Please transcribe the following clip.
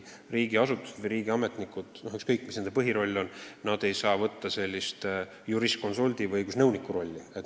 Riigiasutused või riigiametnikud, ükskõik mis nende põhiroll ka pole, ei saa võtta juriskonsuldi või õigusnõuniku rolli.